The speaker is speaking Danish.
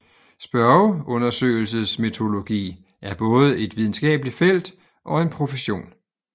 Spørgeundersøgelsesmetodologi er både et videnskabeligt felt og en profession